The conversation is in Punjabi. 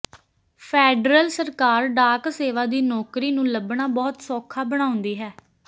ਫੈਡਰਲ ਸਰਕਾਰ ਡਾਕ ਸੇਵਾ ਦੀ ਨੌਕਰੀ ਨੂੰ ਲੱਭਣਾ ਬਹੁਤ ਸੌਖਾ ਬਣਾਉਂਦੀ ਹੈ